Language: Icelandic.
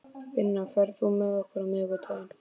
Binna, ferð þú með okkur á miðvikudaginn?